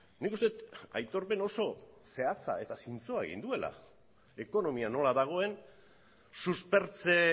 nik uste dut aitorpen oso zehatza eta zintzoa egin duela ekonomia nola dagoen suspertze